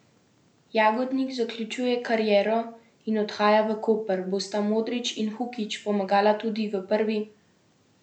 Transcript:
Jagodnik zaključuje kariero in odhaja v Koper, bosta Modrić in Hukić pomagala tudi v prvi ligi?